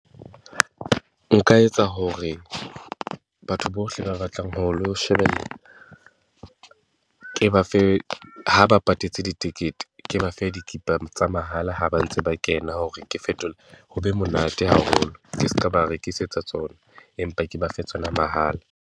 Nka etsa hore batho bohle ba batlang ho lo shebella, ke ba fe, ha ba patetse ditekete, ke ba fe dikipa tsa mahala ha ba ntse ba kena hore ke . Ho be monate haholo ke ska ba rekisetsa tsona, empa ke ba fe tsona mahala.